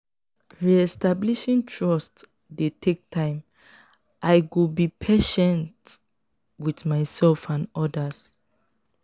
re-establishing trust dey take time; i go be patient with myself and others.